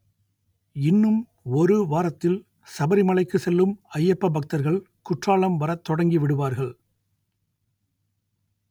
இன்னும் ஒரு வாரத்தில் சபரிமலைக்கு செல்லும் ஐயப்ப பக்தர்கள் குற்றாலம் வரத் தொடங்கி விடுவார்கள்